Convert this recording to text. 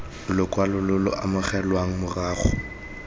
lokwalo lo lo amogelwang morago